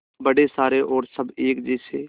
बड़े सारे और सब एक जैसे